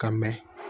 Ka mɛn